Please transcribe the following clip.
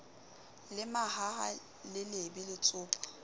le mahaha le lebe letsopa